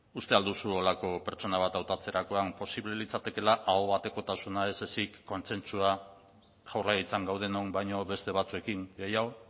uste al duzu horrelako pertsona bat hautatzerakoan posible litzatekeela aho batekotasuna ez ezik kontsentsua jaurlaritzan gaudenon baino beste batzuekin gehiago